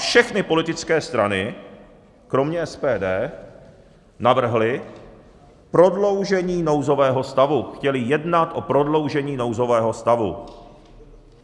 Všechny politické strany kromě SPD navrhly prodloužení nouzového stavu, chtěly jednat o prodloužení nouzového stavu.